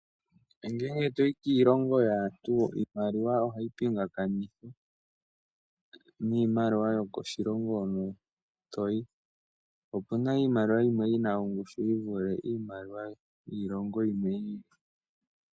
Ngele toyi kiilonga yaantu iimaliwa ohiyi pingakanithwa niimaliwa yokoshilongo hono toyi, opuna iimaliwa yimwe yina ongushu yivule iimaliwa yiilongo iikwawo.